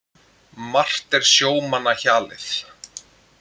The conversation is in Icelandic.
Margt er sjómanna hjalið.